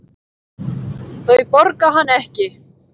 Þau borga hann ekki.